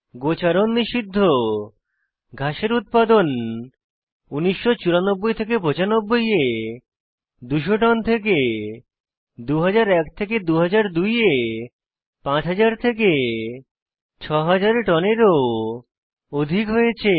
গোচারণ নিষিদ্ধ ঘাসের উৎপাদন 1994 95 এ 200 টন থেকে 2001 2002 এ 5000 6000 টনের ও অধিক হয়েছে